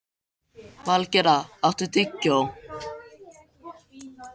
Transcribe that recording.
Valgerða, áttu tyggjó?